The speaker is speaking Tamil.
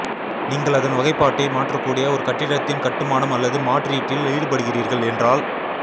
நீங்கள் அதன் வகைப்பாட்டை மாற்றக்கூடிய ஒரு கட்டிடத்தின் கட்டுமானம் அல்லது மாற்றீட்டில் ஈடுபடுகிறீர்கள் என்றால்